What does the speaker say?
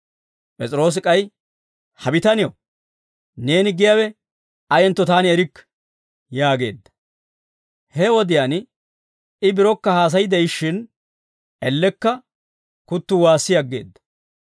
P'es'iroosi k'ay, «Ha bitanew, neeni giyaawe ayentto taani erikke» yaageedda. He wodiyaan I birokka haasay de'ishshin, ellekka kuttuu waassi aggeedda.